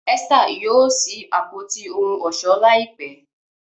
Esther yóò sí Àpótí ohun ọ̀ṣọ́ láìpé.